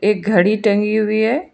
एक घड़ी टंगी हुई है।